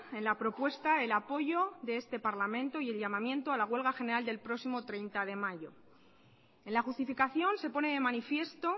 en la propuesta el apoyo de este parlamento y el llamamiento a la huelga general del próximo treinta de mayo en la justificación se pone de manifiesto